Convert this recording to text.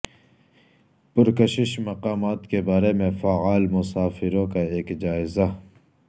پرکشش مقامات کے بارے میں فعال مسافروں کا ایک جائزہ